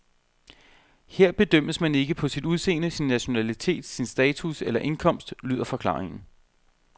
Her bedømmes man ikke på sit udseende, sin nationalitet, sin status eller indkomst, lyder forklaringen.